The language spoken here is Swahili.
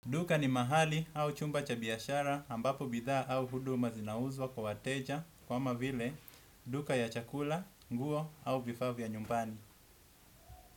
Duka ni mahali au chumba cha biyashara ambapo bidha au huduma zinauzwa kwa wateja kwa mavile duka ya chakula, nguo au vifavya nyumbani.